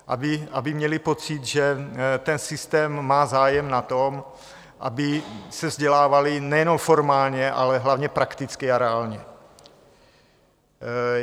Aby měli pocit, že ten systém má zájem na tom, aby se vzdělávali nejenom formálně, ale hlavně prakticky a reálně.